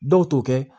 Dɔw t'o kɛ